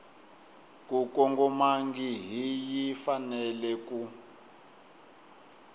ku kongomangihi yi fanele ku